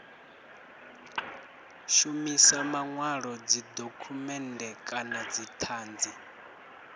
shumisa manwalo dzidokhumennde kana dzithanzi